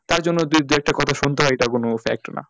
তার জন্য যদি দু-একটা কথা শুনতে হয়, ওটা কোন fact না।